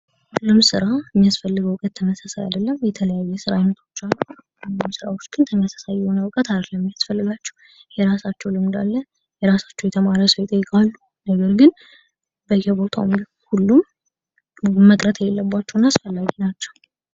ሁሉም ስራ የሚስፈልገው እውቀት ተመሳሳይ አይደለም። የተለያየ የስራ አይነቶች አሉ። ሁሉም ራዎች ግን ተመሳሳይ የሆነ ዕውቀት አይደለም የሚያስፈልጋቸው። የራሳቸው ልምድ አለ ፣የራሳቸው የተማረ ሰው ይጠይቃሉ ነገር ግን በየቦታው ሁሉም መቅረት የሌለባቸውና አስፈላጊ ናቸው።